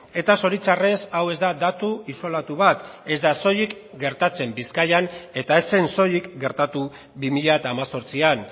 eta zoritxarrez hau ez da datu isolatu bat ez da soilik gertatzen bizkaian eta ez zen soilik gertatu bi mila hemezortzian